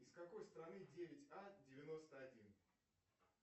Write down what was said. из какой страны девять а девяносто один